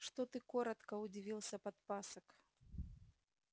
что ты коротко удивился подпасок